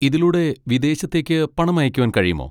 ഇതിലൂടെ വിദേശത്തേക്ക് പണം അയക്കുവാൻ കഴിയുമോ?